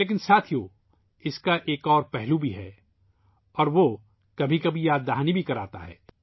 لیکن دوستو ، اس کا ایک اور پہلو ہے اور یہ بعض اوقات تشویش کا باعث بھی بنتا ہے